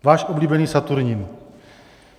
Váš oblíbený Saturnin.